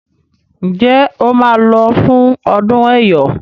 Njé o má ló fún ọdún eyọ?